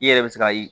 I yɛrɛ bɛ se ka